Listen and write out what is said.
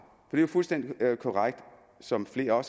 er jo fuldstændig korrekt som flere har